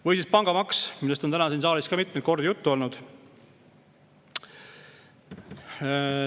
Või siis pangamaks, millest on täna siin saalis ka mitmeid kordi juttu olnud.